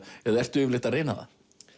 eða ertu yfirleitt að reyna það